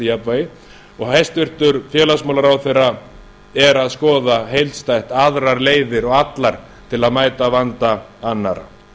jafnvægi og hæstvirtur félagsmálaráðherra er að skoða heildstætt aðrar leiðir og allar til að mæta vanda annarra